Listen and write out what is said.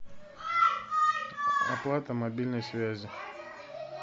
оплата мобильной связи